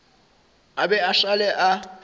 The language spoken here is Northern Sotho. a be a šale a